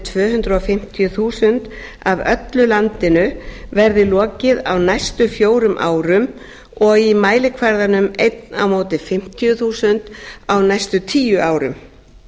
tvö hundruð fimmtíu þúsund af öllu landinu verði lokið á næstu fjórum árum og í mælikvarðanum ein fimmtíu þúsund á næstu tíu árum